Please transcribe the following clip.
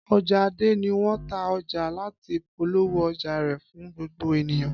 Ọja Ade ni wọn ta ọja lati polowo ọja rẹ fun gbogbo eniyan.